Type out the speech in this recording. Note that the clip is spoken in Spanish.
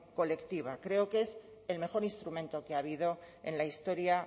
colectiva creo que es el mejor instrumento que ha habido en la historia